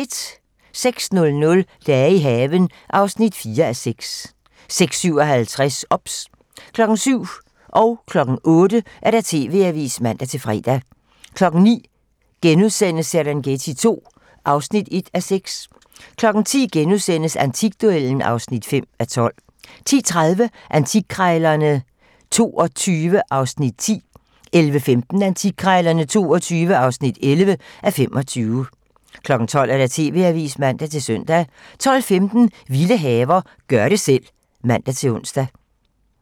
06:00: Dage i haven (4:6) 06:57: OBS (man) 07:00: TV-Avisen (man-søn) 08:00: TV-Avisen (man-fre) 09:00: Serengeti II (1:6)*(man) 10:00: Antikduellen (5:12)* 10:30: Antikkrejlerne XXII (10:25) 11:15: Antikkrejlerne XXII (11:25) 12:00: TV-Avisen (man-søn) 12:15: Vilde haver - gør det selv (man-ons)